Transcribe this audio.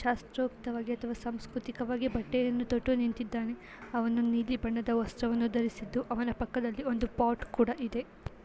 ಶಾಸ್ತ್ರತೊತ್ರವಾಗಿ ಅಥವಾ ಸಾಂಸ್ಕೃತಿಕವಾಗಿ ಬಟ್ಟೆಯನ್ನು ತೊಟ್ಟು ನಿಂತ್ತಿದ್ದಾನೆ. ಅವನು ನೀಲಿ ಬಣ್ಣದ ವಸ್ತ್ರವನ್ನು ಧರಿಸಿದ್ದು ಅವನ ಪಕ್ಕದಲ್ಲಿ ಒಂದು ಪಾಟ್ ಕೂಡ ಇದೆ.